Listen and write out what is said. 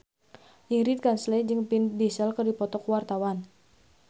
Ingrid Kansil jeung Vin Diesel keur dipoto ku wartawan